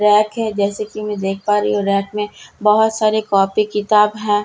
Rack है जैसा कि मैं देख पा रही हूं की रैक में बहोत सारी कॉपी किताब है।